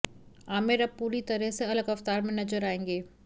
आमिर अब पूरी तरह से अलग अवतार में नजर आएंगे